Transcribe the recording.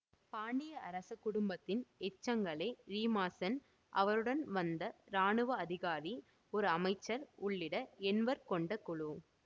பாண்டிய அரச குடும்பத்தின் எச்சங்களே ரீமாசென் அவருடன் வந்த இராணுவ அதிகாரி ஒரு அமைச்சர் உள்ளிட்ட எண்வர் கொண்ட குழு